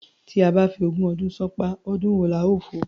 Tí a bá fi ogún ọdún ṣánpá, ọdún wo la ó fò?